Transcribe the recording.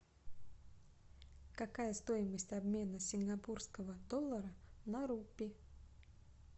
какая стоимость обмена сингапурского доллара на рупий